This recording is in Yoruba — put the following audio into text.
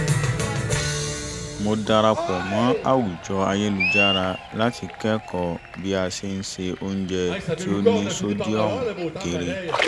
mo darapọ̀ mọ́ àwùjọ ayélujára láti kẹ́kọ̀ọ́ bí a ṣe ń ṣe oúnjẹ tó ní sódíọ̀mù kéré